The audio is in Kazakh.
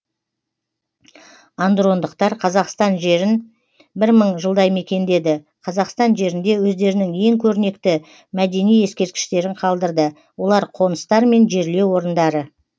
андрондықтар қазақстан жерін бір мың жылдай мекендеді қазақстан жерінде өздерінің ең көрнекті мөдени ескерткіштерін қалдырды олар қоныстар мен жерлеу орындары